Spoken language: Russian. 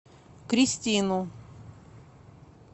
кристину